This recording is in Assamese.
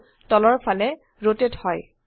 ভিউ তলৰ ফালে ৰোটেট হয়